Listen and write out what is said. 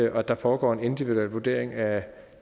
at der foregår en individuel vurdering af